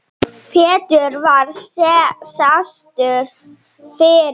Pétur var fastur fyrir.